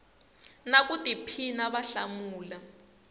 na ku tiphina va hlamula